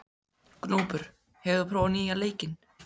Gnúpur, hefur þú prófað nýja leikinn?